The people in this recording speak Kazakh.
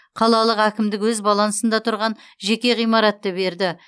қалалық әкімдік өз балансында тұрған жеке ғимаратты берді